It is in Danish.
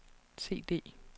CD